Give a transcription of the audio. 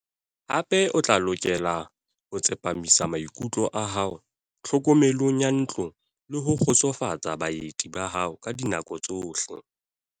Hape o tla lokela ho tsepamisa maikutlo a hao tlhokomelong ya ntlo le ho kgotsofatsa baeti ba hao ka dinako tsohle.